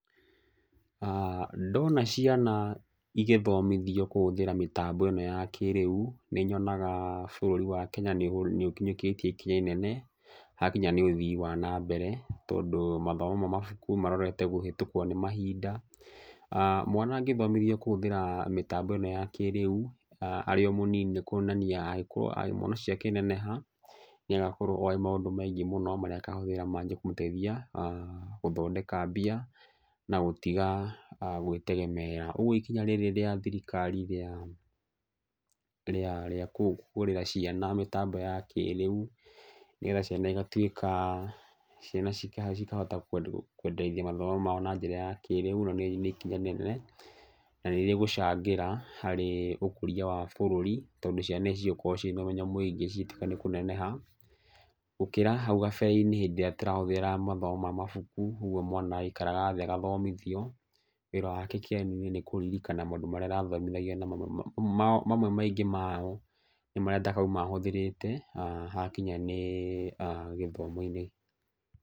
Ndona ciana igĩthomithio kũhũthĩra mĩtambo ĩno ya kĩrĩu, nĩ nyonaga bũrũri wa Kenya nĩ ũkinyũkĩtie ikinya inene, hakinya nĩ ũthii wa nambere. Tondũ mathomo ma mabuku marorete kũhĩtũkwo nĩ mahinda. Mwana angĩthomithio kũhĩtũkĩra mĩtambo ĩno ya kĩrĩu, arĩ o mũnini nĩ kuonania angĩkorwo mwana ũcio akĩneneha nĩ agakorwo oĩ maũndũ maingĩ mũno marĩa akahũthĩra manjie kũmũteithia gũthondeka mbia na gũtiga gwĩtegemeera. Ũguo ikinya rĩrĩ rĩa thirikari rĩa, rĩa, rĩa kũhingũrĩra ciana mĩtambo ya kĩrĩu nĩgetha ciana igatuĩka, ciana cikahota kwenderithia mathomo mao na njĩra ya kĩrĩu na rĩu nĩ ikinya inene na nĩ rĩgucangĩra harĩ ũkũria wa bũrũri tondũ ici cigũkorwo ciĩna ũmenyo mũingĩ cigĩtuĩka nĩ kũneneha. Gũkĩra hau kabare-inĩ hĩndĩ ĩrĩa tũrahũthĩra mathomo ma mabuku, ũguo mwana aikaraga thĩ agathomithio. Wĩra wake kĩgeranio-inĩ nĩ kũririkana maũndũ marĩa arathomithagio na mamwe maĩngĩ mamo, nĩ marĩa atakoima ahũthĩrĩte hakinya nĩ gĩthomo-inĩ.